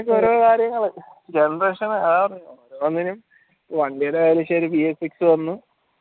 ഓരോ കാര്യങ്ങള് ഒന്നിനും വണ്ടീടെ